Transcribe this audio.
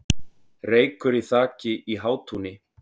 Reykur í þaki í Hátúni